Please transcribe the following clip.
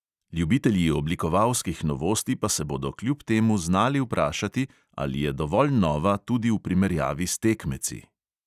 Ljubitelji oblikovalskih novosti pa se bodo kljub temu znali vprašati, ali je dovolj nova tudi v primerjavi s tekmeci.